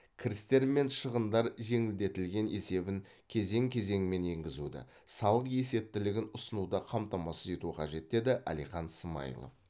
кірістер мен шығыстар жеңілдетілген есебін кезең кезеңімен енгізуді салық есептілігін ұсынуды қамтамасыз ету қажет деді әлихан смайылов